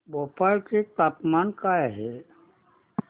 भोपाळ चे तापमान काय आहे